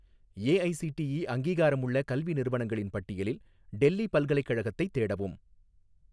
AIC DE அங்கீகாரமுள்ள கல்வி நிறுவனங்களின் பட்டியலில் டெல்லி பல்கலைக்கழகத்தைத் தேடவும்